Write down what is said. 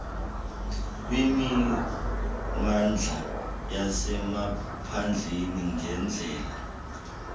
kwimimandla yasemaphandleni ngeendlela